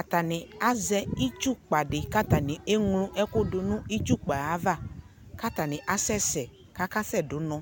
atani azɛ itsukpa di, kʋ atani ɛmlɔ ɛkʋ dʋnʋ itsʋkpa aɣa ,kʋ atani asɛsɛ kʋ akasɛ dʋnʋ